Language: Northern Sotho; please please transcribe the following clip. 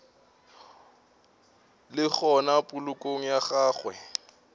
le gona polokong ya gagwe